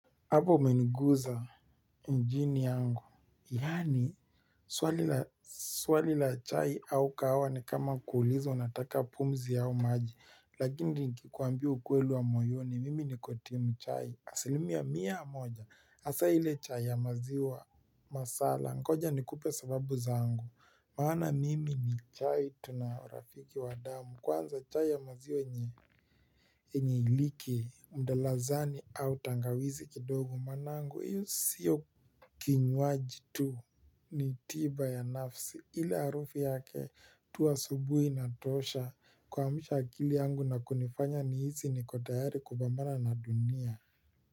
Apo umeniguza njini yangu, yani swali la chai au kahawa ni kama kuulizo nataka pumzi au maji, lakini ni kikuambia UkwelI wa moyoni, mimi niko timu chai, asilimia mia moja, asa hile chai ya maziwa masala, ngoja nikupe sababu zangu. Maana mimi ni chai tunarafiki wa damu kwanza chai ya maziwa nye enye iliki mdalazani au tangawizi kidogo manangu iyo siyo kinywaji tu ni tiba ya nafsi ili arufu yake tu asubuhi natosha kwa mshakili yangu na kunifanya ni hizi niko tayari kupamana na dunia.